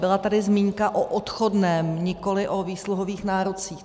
Byla tady zmínka o odchodném, nikoliv o výsluhových nárocích.